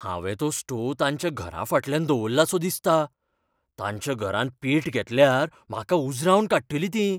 हांवे तो स्टोव तांच्या घराफाटल्यान दवरलासो दिसता. तांच्या घरान पेट घेतल्यार म्हाका उजरावन काडटलीं ती.